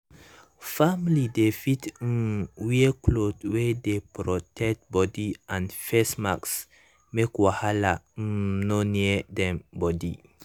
family dem fit um wear cloth wey dey protect body and face mask make wahala um nor near dem body.